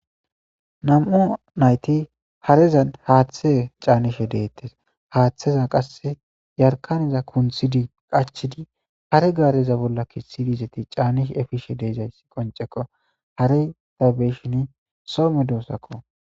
Nam'o nayti hareza haaththe caanishe deettes haaththeza qasse yarkaneza kunthidi qachidi hare gaareza bolla kessidizeti caanish efishe deezayssi qonceko hare tabeshin some doosakko